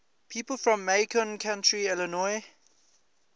people from macon county illinois